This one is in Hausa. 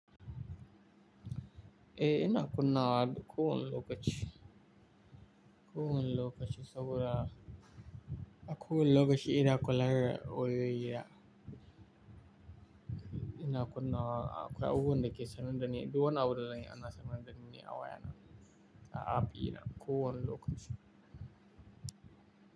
Eh, ina kunnawa ko wani lokaci. Ko wani lokaci saboda a ko wani lokaci ina kula da wayoyi na. Akwai abubuwan da ke sanar da ni, duk wani abun da zan yi ana sanar da ni ne a wayana. A app dinna kowani lokaci.